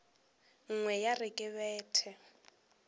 nngwe ya re ke bete